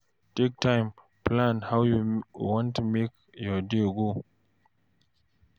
Take time plan how you want make your day go